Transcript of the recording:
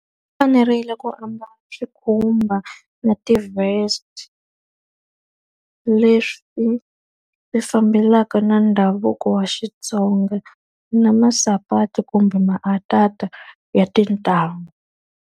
Fanerile ku ambala swikhumba na ti-vest, leswi fambelaka na ndhavuko wa Xitsonga na masapati kumbe ya tintangu.